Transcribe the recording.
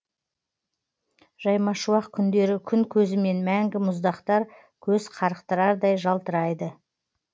жаймашуақ күндері күн көзімен мәңгі мұздақтар көз қарықтырардай жалтырайды